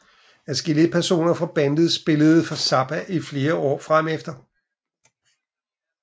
Adskillige personer fra bandet spillede for Zappa i flere år fremefter